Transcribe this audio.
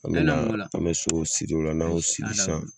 An me na an me sow siri ola n'an y'o sisan